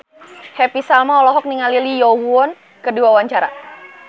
Happy Salma olohok ningali Lee Yo Won keur diwawancara